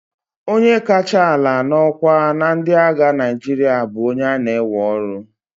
onye kacha ala n'ọkwa na ndị agha Naịjirịa bụ onye a na-ewe ọrụ